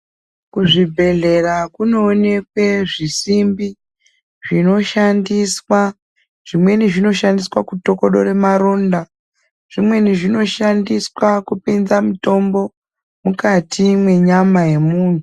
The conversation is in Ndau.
Kuzvibhedhlera kunoonekwe zvisimbi zvinoshandiswa. Zvimweni zvinoshandiswa kutokodore maronda, zvimweni zvinoshandiswa kupinza mutombo mukati menyama yemunhu.